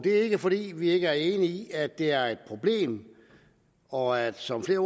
er ikke fordi vi ikke er enige i at det er et problem og at det som flere